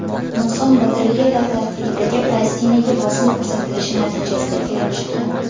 Nuqson batareyalar tarkibidagi plastinaga bosim ko‘rsatilishi natijasida kelib chiqqan.